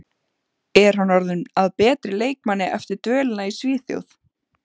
Er hann orðinn að betri leikmanni eftir dvölina í Svíþjóð?